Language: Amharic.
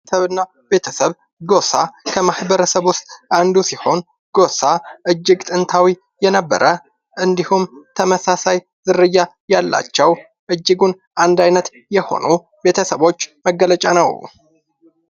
ማበረሰብና ቤተሰብ ጎሳ ከማህበረሰብ ውስጥ አንዱ ሲሆን ጎሳ እጅግ ጥንታዊ የነበረ እንዲሁም ተመሳሳይ ዝርያ ያላቸው ፣እጅጉን አንድ ዓይነት የሆኑ ቤተሰቦች መገለጫ ነው።